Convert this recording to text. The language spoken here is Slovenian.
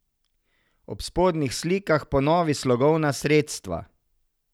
Ob spodnjih slikah ponovi slogovna sredstva.